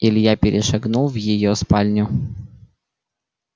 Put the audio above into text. илья перешагнул в её спальню